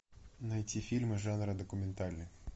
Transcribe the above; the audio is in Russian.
найти фильмы жанра документальный